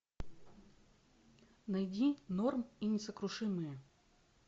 найди норм и несокрушимые